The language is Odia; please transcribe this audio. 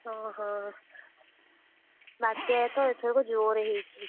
ହଁ ହଁ, ବାତ୍ୟା ତ ଏଥରକ ଜୋରେ ହେଇଛି।